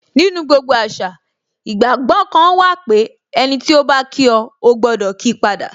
Nínú gbogbo àṣà, ìgbàgbọ́ kan wà pé, ẹniti o ba kí o, o gbọdọ kii pada